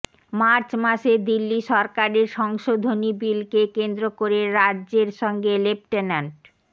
March মাসে দিল্লি সরকারের সংশোধনী বিলকে কেন্দ্র করে রাজ্য়ের সঙ্গে লেফটেন্যান্ট